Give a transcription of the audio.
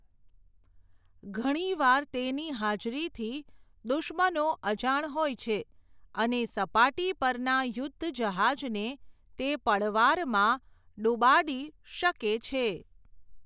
ઘણીવાર તેની હાજરીથી, દુશ્મનો અજાણ હોય છે, અને સપાટી પરના યુદ્ધ જહાજને, તે પળવારમાં ડૂબાડી શકે છે.